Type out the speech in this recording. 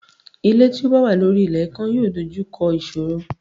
Ilé tí ó bá wà lórí ilé ikán yóò dojú kọ ìṣòro.